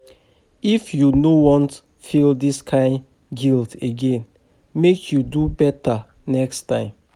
If you no wan feel dis kain guilt again, make you do beta next time.